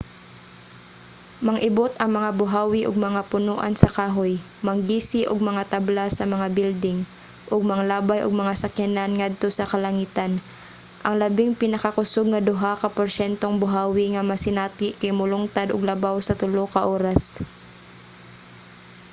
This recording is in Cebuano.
mang-ibot ang mga buhawi og mga punoan sa kahoy manggisi og mga tabla sa mga bilding ug manglabay og mga sakyanan ngadto sa kalangitan. ang labing pinakakusog nga duha ka porsyentong buhawi nga masinati kay molungtad og labaw sa tulo ka oras